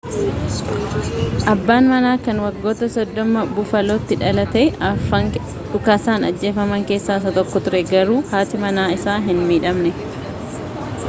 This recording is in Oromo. abbaan manaa kan waggaa 30 bufaalootti dhalate afran dhukaasaan ajjeefaman kessaa isa tokko ture garuu haati manaa isaa hin midhamne